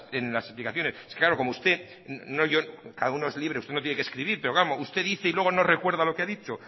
en las explicaciones cada uno es libre usted no tiene que escribir pero usted dice y luego no recuerda lo que ha dicho